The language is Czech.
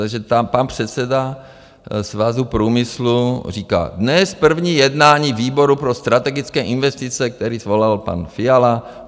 Takže tam pan předseda Svazu průmyslu říká - Dnes první jednání výboru pro strategické investice, který svolal pan Fiala.